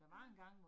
Ja